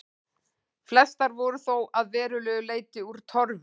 Flestar voru þó að verulegu leyti úr torfi.